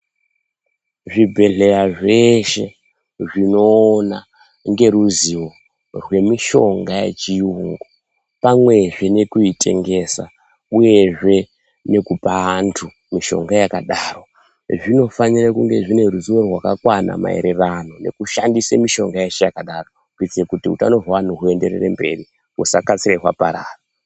Zvibhedhleya zveshe zvinoona ngeruzivo hwemushonga yechiyungu pane zvinokutengesa uyezve nekupa vanthu mushonga yakadaro zvinofanire kunge zvine ruzivo rwakakwana maererano nekushandise mishonga yeshe yakadaro kuite kuti hutano hwevanhu huenderere mberi husakasira hwaparara.